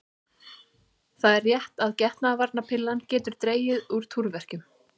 Það er rétt að getnaðarvarnarpillan getur dregið úr túrverkjum.